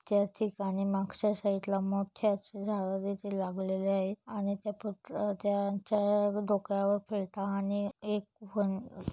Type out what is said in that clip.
या ठिकाणी मागच्या साइड ला मोठे आशे झाडे तिथं लागलेले आहेत. आणि त्यापु त्यांचा डोक्यावर फेटा आणि एक व्हन--